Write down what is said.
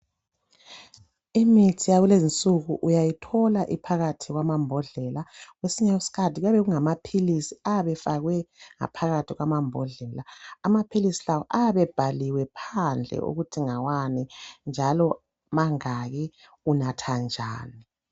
Imithi yakulezi insuku uyayithola iphakathi kwamabhodlela kwesinye isikhathi kuayabe kungamaphilisi ayabe efakwe ngaphakathi kwabhodlela. Amaphilisi lawa abebhaliwe phandle ukuthi ngawani njalo mangaki unatha njani